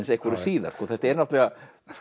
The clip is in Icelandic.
einhverju síðar þetta er náttúrulega